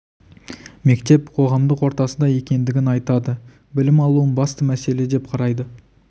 мектеп қоғамдық ортасы да екендігін айтады білім алуын басты мәселе деп қарайды